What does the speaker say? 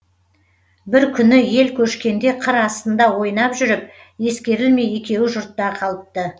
бір күні ел көшкенде қыр астында ойнап жүріп ескерлемей екеуі жұртта қалыпты